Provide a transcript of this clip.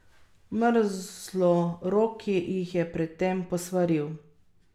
Mrzloroki jih je pred tem posvaril.